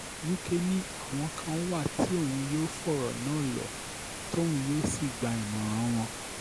wike ni àwọn kan wà tí òun yóò fọ̀rọ̀ náà lò tóun yóò sì gba ìmọ̀ràn wọn